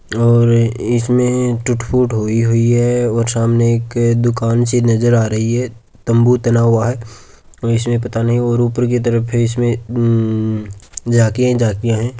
और इसमें टूट फुट हुई हुई है और सामने एक दुकान सी नज़र आ रही है तम्बू तना हुआ है और इसमें पता नही और उपर की तरफ है इसमें झांकिया ही झांकिया है।